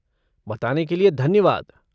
बताने के लिए धन्यवाद।